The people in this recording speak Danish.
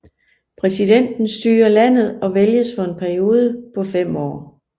Præsidenten styrer landet og vælges for en periode på 5 år